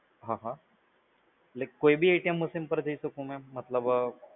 હા હા, એટલે કોઈ બી machine પર જઈ શકું? મતલબ